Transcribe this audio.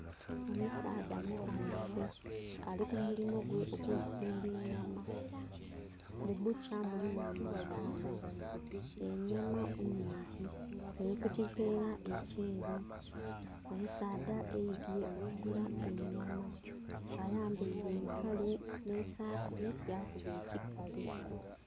Omusaadha musanhufu ali ku mulimu gwe ogwokutundha enyama, mu bbukya mulimu minzani enyama nnhingi eri ku kiveera ekyeru omusaadha aidhye okugula enyama nga ayambaire empale nhe saati hakuna ekikalu.